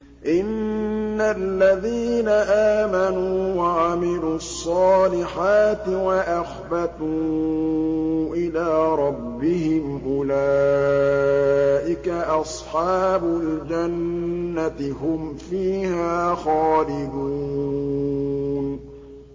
إِنَّ الَّذِينَ آمَنُوا وَعَمِلُوا الصَّالِحَاتِ وَأَخْبَتُوا إِلَىٰ رَبِّهِمْ أُولَٰئِكَ أَصْحَابُ الْجَنَّةِ ۖ هُمْ فِيهَا خَالِدُونَ